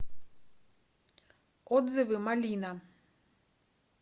отзывы малина